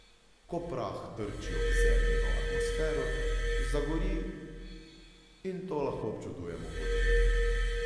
Ko prah trči ob Zemljino atmosfero, zagori in to lahko občudujemo kot utrinek.